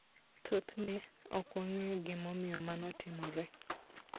Thothne, ok wang'eyo gimomiyo mano timore.